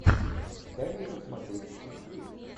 дай мне посмотреть чикфлик